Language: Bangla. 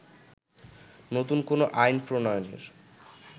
নতুন কোন আইন প্রণয়নের